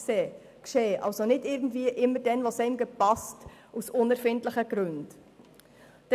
Diese Inspektionen dürfen also nicht einfach dann, wenn es einem passt, oder aus unerfindlichen Gründen durchgeführt werden.